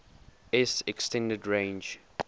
s extended range